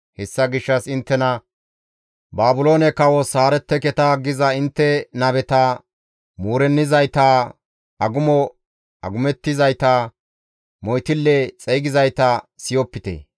Hessa gishshas inttena, ‹Baabiloone kawos haaretteketa› giza intte nabeta, muurennizayta, agumo agumettizayta, moytille xeygizayta siyopite.